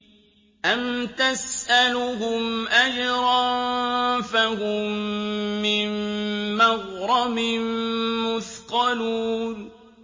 أَمْ تَسْأَلُهُمْ أَجْرًا فَهُم مِّن مَّغْرَمٍ مُّثْقَلُونَ